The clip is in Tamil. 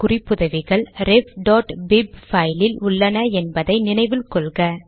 குறிப்புதவிகள் refபிப் பைலில் உள்ளன என்பதை நினைவில் கொள்க